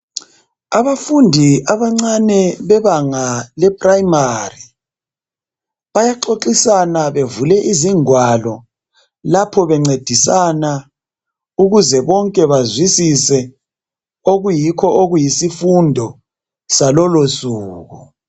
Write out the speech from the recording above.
Abafundi abancane bebanga leprimary bayaxoxisana bevule izingwalo lapho bencedisana ukuze bonke bazwisise okuyikho okuyisifundo salolosuku.